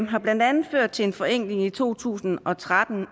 har blandt andet ført til en forenkling i to tusind og tretten